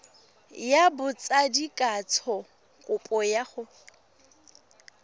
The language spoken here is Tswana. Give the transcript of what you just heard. ya botsadikatsho kopo ya go